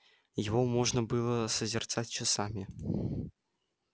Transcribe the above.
его можно было созерцать часами